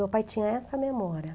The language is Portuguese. Meu pai tinha essa memória.